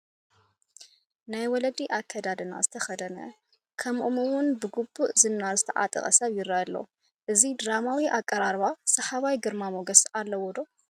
ናይ ወለዲ ኣከዳድና ዝተኸድነ ከምኦም እውን ብግቡእ ዝናር ዝተዓቐ ሰብ ይርአ ኣሎ፡፡ እዚ ድራማዊ ኣቀራርባ ሰሓባይ ግርማ ሞገስ ኣለዎ ዶ?